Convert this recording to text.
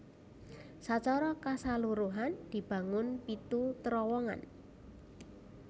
Sacara kasaluruhan dibangun pitu terowongan